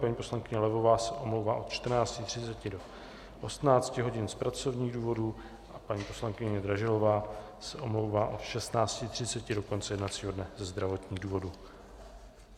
Paní poslankyně Levová se omlouvá od 14.30 do 18 hodin z pracovních důvodů a paní poslankyně Dražilová se omlouvá od 16.30 do konce jednacího dne ze zdravotních důvodů.